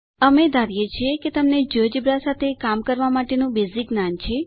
અમે ધારીએ છીએ કે તમને જિયોજેબ્રા સાથે કામ કરવા માટેનું બેઝીક જ્ઞાન છે